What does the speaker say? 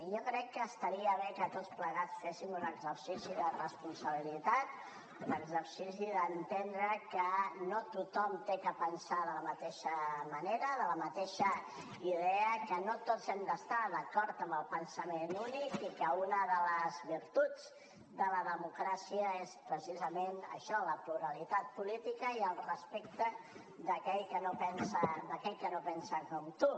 i jo crec que estaria bé que tots plegats féssim un exercici de responsabilitat un exercici d’entendre que no tothom ha de pensar de la mateixa manera de la mateixa idea que no tots hem d’estar d’acord amb el pensament únic i que una de les virtuts de la democràcia és precisament això la pluralitat política i el respecte d’aquell que no pensa com tu